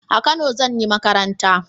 A kano zan yi makaranta